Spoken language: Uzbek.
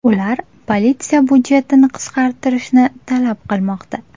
Ular politsiya budjetini qisqartirishni talab qilmoqda.